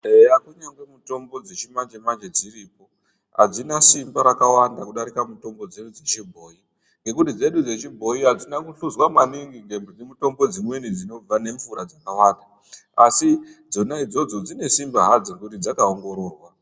Eya kunyangwe mitombo dzechimanje-manje dziripo hadzina simba rakawanda kudarika mitombo dzedu dzechibhoi. Ngekuti dzedu dzechibhoyi hadzina kuhluzwa maningi nemitombo dzimweni dzinobva nemvura dzakawanda. Asi dzona idzodzo dzine simba hadzo nekuti dzaka ongororwa.